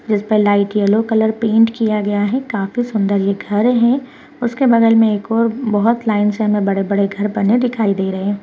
जिसपे light yellow colour paint किया गया है काफी सुंदर ये घर है उसके बगल मे एक और बहोत लाइन से हमे बड़े-बड़े घर बने दिखाई दे रहे है।